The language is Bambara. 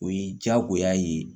O ye diyagoya ye